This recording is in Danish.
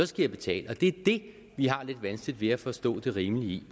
skal jeg betale og det er det vi har lidt vanskeligt ved at forstå det rimelige i